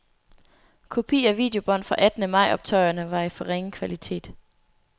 Kopi af videobånd fra attende majoptøjerne var i for ringe kvalitet.